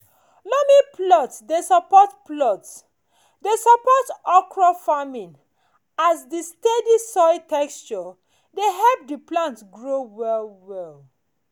loamy plots dey support plots dey support okra farming as di steady soil texture dey help di plant grow well well.